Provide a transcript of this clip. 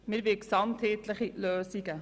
Wir wollen gesamtheitliche Lösungen.